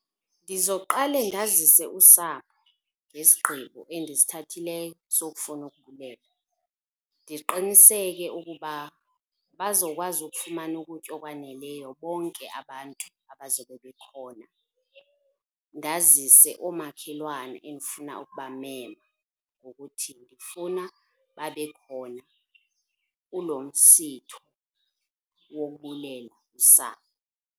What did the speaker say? Ndizoqale ndazise usapho ngesigqibo endisithathileyo sokufuna ukubulela. Ndiqiniseke ukuba bazokwazi ukufumana ukutya okwaneleyo bonke abantu abazobe bekhona. Ndazise oomakhelwane endifuna ukubamema ngokuthi ndifuna babe khona kulo msitho wokubulela usapho.